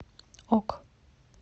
ок